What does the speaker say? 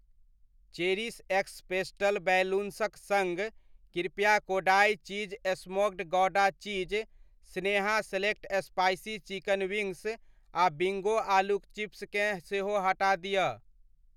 Cherish x pastel बैलून्सक सङ्ग , कृपया Kodai cheese smoked gouda cheese, Sneha select spicy chicken wings आ बिंगो आलूक चिप्स केँ सेहो हटा दिअ।